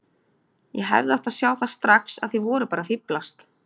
Ég hefði átt að sjá það strax að þið voruð bara að fíflast.